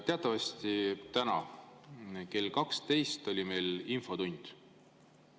Teatavasti täna kell 12 oli meil infotund.